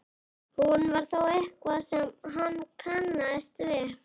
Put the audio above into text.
Hún var þó eitthvað sem hann kannaðist við.